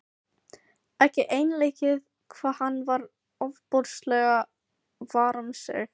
Ekki einleikið hvað hann var ofboðslega var um sig.